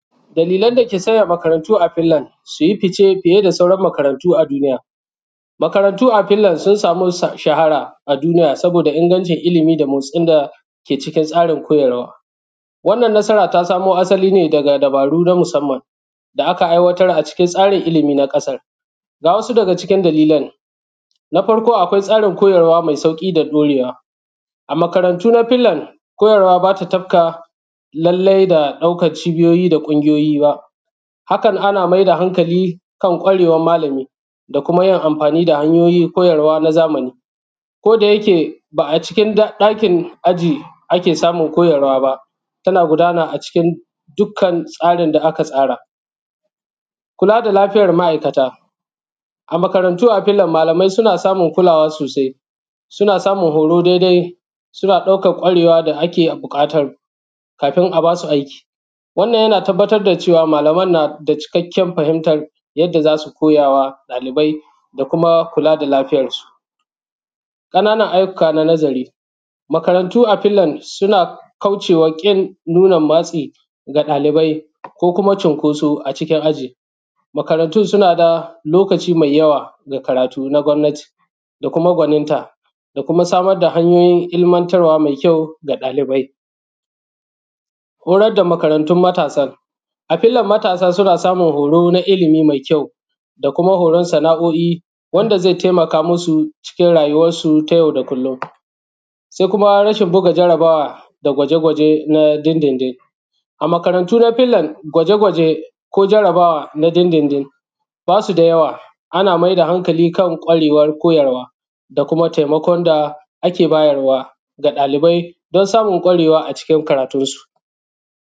dalilan da ke sanja makarantu a fin land su ji fice fije da sauran makarantu a dunija makarantu a fin land sun samu ʃahara a dunija saboda ingancin ilimi da motsin da ke cikin tsarin kojarwa wannan nasara ta samo asali ne daga dabaru na musamman da aka aiwatar a cikin tsarin ilimi na ƙasar ga wasu daga cikin dalilan na farko akwai tsarin kojarwa mai sauƙi da ɗorewa a makarantu na fin land kojarwa ba ta tafka lallai da ɗaukan cibijoji da ƙungijoji bajan hakan ana mai da hankali kan kwarewar malami da kuma jin amfani da hanjojin kojarwa na zamani kodajake ba a cikin ɗakin ajin ake samun kojarwa ba tana gudana a cikin dukkan tsarin da aka tsara kula da lafijar ma'aikata a makarantu a fin land malamai suna samun kulawa sosai suna samun horo dai dai suna ɗaukan ƙwarewa da ake buƙata kafin a ba su aiki wannan jana tabbatar da cewa malaman na da cikakken fahimtan jadda za su koja ma ɗalibai da kuma kula da lafijar su ƙananan ajjuka na nazari makarantu a fin land suna kauce wa ƙin nunan matsi ga ɗalibai ko kuma cinkoso a cikin aji makarantu suna da lokaci mai jawa ga karatu na gwamnati da kuma gwaninta da kuma samar da hanjojin ilimantarwa mai kjau ga ɗalibai horadda makarantun matasan a fin land matasa suna samun horo na ilimi mai kjau da kuma horon sana'oi wanda zai taimaka mu su cikin rajuwan su ta jau da kullum sai kuma raʃin buga jarabawa da gwaje gwaje na din din din a makarantu na fin land gwaje gwaje ko jarabawa na din din din ba su da jawa ana mai da hankali kan ƙwarewar kojarwa da kuma taimakon da ake bajarwa ga ɗalibai don samun ƙwarewa a cikin karatunsu